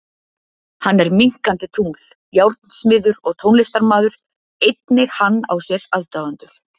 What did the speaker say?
Hann er minnkandi tungl, járnsmiður og tónlistarmaður, einnig hann á sér aðdáendur.